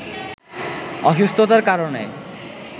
অসুস্থতার কারণে